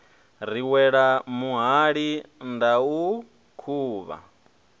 ri wele muhali ndau khuvha